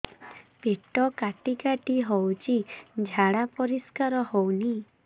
ପେଟ କାଟି କାଟି ହଉଚି ଝାଡା ପରିସ୍କାର ହଉନି